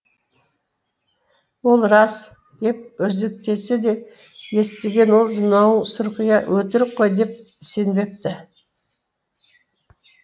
ол рас деп өзектесе де естіген ол мынау сұрқия өтірік қой деп сенбепті